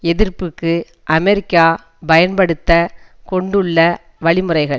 எதிர்ப்பிற்கு அமெரிக்கா பயன்படுத்த கொண்டுள்ள வழிமுறைகள்